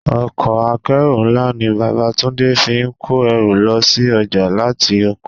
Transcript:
Ọkọ̀ akeru ńlá ni bàbá Túndé fi kó ẹrù lọ sí ọjà láti oko.